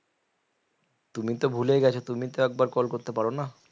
তুমি তো ভুলেই গেছো তুমি তো একবার call করতে পারো না